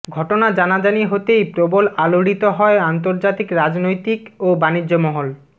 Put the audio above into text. ঘটনা জানাজানি হতেই প্রবল আলোড়িত হয় আন্তর্জাতিক রাজনৈতিক ও বাণিজ্য মহল